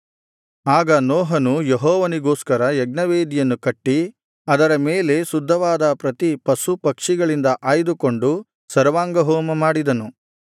ಆಗ ನೋಹನು ಯೆಹೋವನಿಗೋಸ್ಕರ ಯಜ್ಞವೇದಿಯನ್ನು ಕಟ್ಟಿ ಅದರ ಮೇಲೆ ಶುದ್ಧವಾದ ಪ್ರತಿ ಪಶು ಪಕ್ಷಿಗಳಿಂದ ಆಯ್ದುಕೊಂಡು ಸರ್ವಾಂಗಹೋಮ ಮಾಡಿದನು